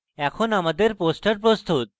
এখন আমাদের poster প্রস্তুত